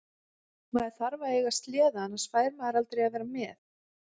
Maður verður að eiga sleða annars fær maður aldrei að vera með.